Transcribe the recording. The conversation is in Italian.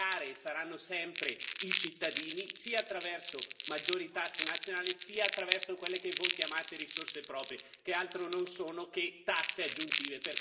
A pagare saranno sempre i cittadini, sia attraverso maggiori tasse nazionali, sia attraverso quelle che voi chiamate risorse proprie, che altro non sono che tasse aggiuntive